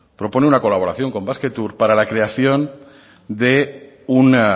propone una colaboración con basquetour para la creación de un